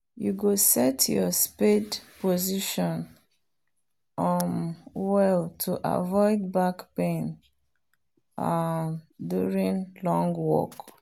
you go set your spade position um well to avoid back pain um during long work